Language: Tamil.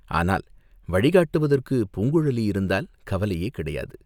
ஆனால் வழிகாட்டுவதற்குப் பூங்குழலி இருந்தால் கவலையே கிடையாது.